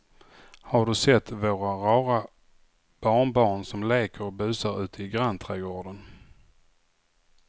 Har du sett våra rara barnbarn som leker och busar ute i grannträdgården!